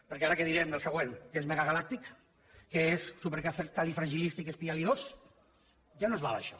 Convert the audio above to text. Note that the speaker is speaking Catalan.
perquè ara què direm del següent que és megagalàctic que és supercalifragilisticoespialidós ja no ens val això